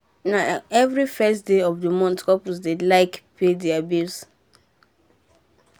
na every first day for month couple dem dey like pay deir bill